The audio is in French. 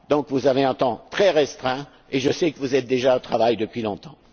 Donc, vous disposez d'un temps très restreint, et je sais que vous êtes déjà au travail depuis longtemps.